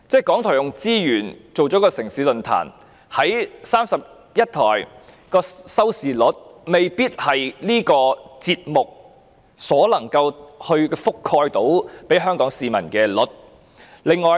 港台動用資源製作"城市論壇"，將節目在31台播放，但因未必能夠覆蓋全香港市民，有關收視率便受影響。